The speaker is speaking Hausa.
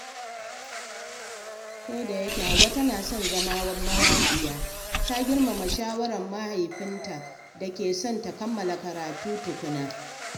Kodayake Hauwa tana son zama mawaƙiya, ta girmama shawarar mahaifinta da ke son ta kammala karatu tukuna.